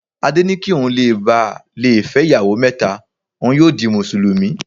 Adé ni kí ohun le bà lé fẹ́ ìyàwó mẹ́ta, ohun yóò di Mùsùlùmí.